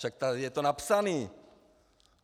Však tady je to napsané.